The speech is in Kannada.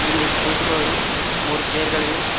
ಇಲ್ಲಿ ಕುಳಿತುಕೊಳ್ಳಲು ಮೂರು ಚೇರ್ ಗಳಿವೆ.